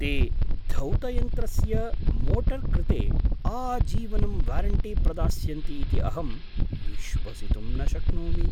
ते धौतयन्त्रस्य मोटर् कृते आजीवनं वारण्टी प्रदास्यन्ति इति अहं विश्वसितुं न शक्नोमि।